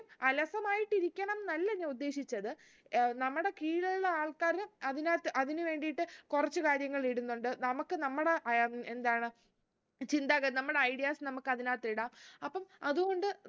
അലസമായിട്ടിരിക്കണംന്നല്ല ഞാൻ ഉദ്ദേശിച്ചത് ഏർ നമ്മുടെ കീഴിലുള്ള ആള്‍ക്കാര് അതിനകത്ത് അതിന് വേണ്ടീട്ട് കുറച്ച് കാര്യങ്ങൾ ഇടുന്നുണ്ട് നമുക്ക് നമ്മുടെ അഹ് എന്താണ് ചിന്താഗതി നമ്മുടെ ideas നമുക്ക് അതിനകത്ത് ഇടാം അപ്പം അത് കൊണ്ട്